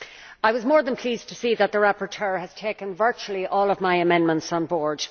I was more than pleased to see that the rapporteur has taken virtually all of my amendments on board.